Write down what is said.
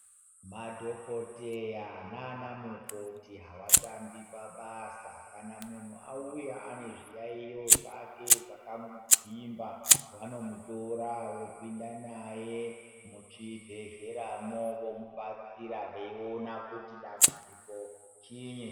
Madhokoteya nana mukoti havatambi pabasa .Kana muntu auya ane zviyaiyo zvake zvakamugwimba vanomutora vopinda naye muchibhedhleyamo vomubatsira vaiona kuti dambudziko chinyi.